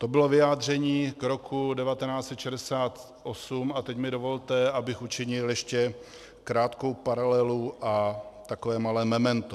To bylo vyjádření k roku 1968 a teď mi dovolte, abych učinil ještě krátkou paralelu a takové malé memento.